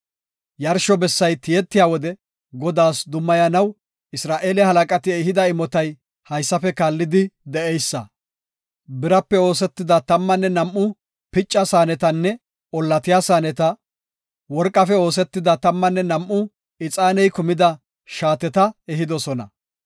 Yarsho bessay tiyetiya wode Godaas dummayanaw Isra7eele halaqati ehida imotay haysafe kaallidi de7eysa. Birape oosetida tammanne nam7u picca saanetanne ollatiya saaneta; worqafe oosetida tammanne nam7u ixaaney kumida shaateta ehidosona.